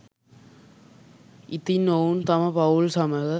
ඉතින් ඔවුන් තම පවුල් සමඟ